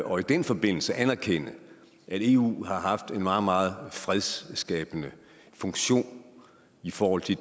og i den forbindelse anerkende at eu har haft en meget meget fredsskabende funktion i forhold til